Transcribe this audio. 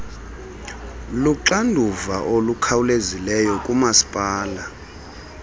luxanduva olukhawulezileyo kumasipala